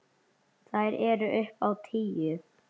Þær eru upp á tíu.